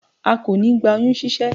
a kò ní gba oyún ṣíṣẹ́